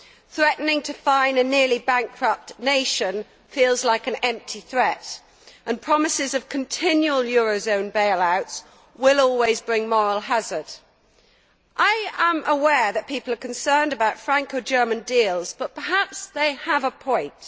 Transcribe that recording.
Threatening to fine a nearly bankrupt nation feels like an empty threat, and promises of continual eurozone bailouts will always bring moral hazard. I am aware that people are concerned about Franco German deals, but perhaps they have a point.